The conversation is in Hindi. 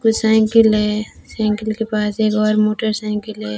कुछ साइकील है साइकिल के पास एक बार मोटरसाइकिल है।